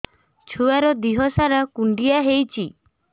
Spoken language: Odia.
ଛୁଆର୍ ଦିହ ସାରା କୁଣ୍ଡିଆ ହେଇଚି